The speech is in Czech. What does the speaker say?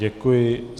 Děkuji.